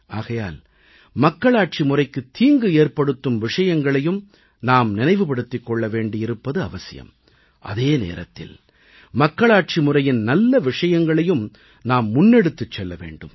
ஆகையால் மக்களாட்சி முறைக்குத் தீங்கு ஏற்படுத்தும் விஷயங்களையும் நாம் நினைவுபடுத்திக் கொள்ள வேண்டியிருப்பது அவசியம் அதே நேரத்தில் மக்களாட்சி முறையின் நல்ல விஷயங்களையும் நாம் முன்னெடுத்துச் செல்ல வேண்டும்